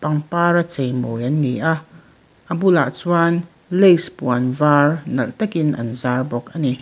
par a cheimawi an ni a a bulah chuan lace puan var nalh takin an zar bawk ani.